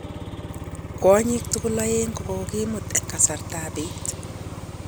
Kwanyik tugul aeg kokokimut en kasartap pet